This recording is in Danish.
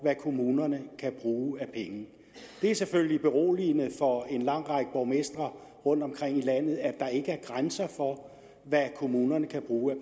kommunerne kan bruge af penge det er selvfølgelig beroligende for en lang række borgmestre rundtomkring i landet at der ikke er grænser for hvad kommunerne kan bruge af